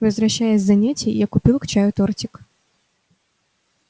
возвращаясь с занятий я купил к чаю тортик